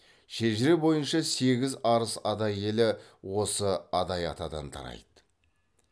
шежіре бойынша сегіз арыс адай елі осы адай атадан тарайды